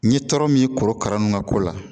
N ye tɔɔrɔ min korokara ninnu ka ko la